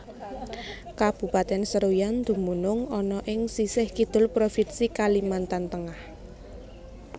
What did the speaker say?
Kabupatèn Seruyan dumunung ana ing sisih Kidul Provinsi Kalimantan Tengah